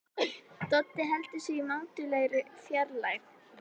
Doddi heldur sig í mátulegri fjarlægð.